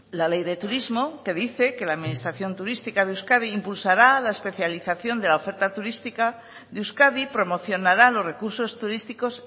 la ley de turismo que dice que la administración turística de euskadi impulsará la especialización de la oferta turística de euskadi promocionará los recursos turísticos